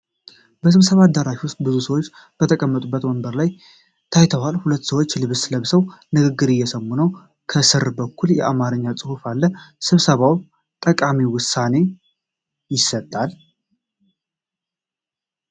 በስብሰባ አዳራሽ ውስጥ ብዙ ሰዎች በተቀመጡበት ወንበሮች ላይ ታይተዋል። ሁሉም ሰዎች ልብስ ለብሰው ንግግር እየሰሙ ነው። ከሥር በኩል የአማርኛ ጽሑፍ አለ። ስብሰባው ጠቃሚ ውሳኔ ይሰጣል?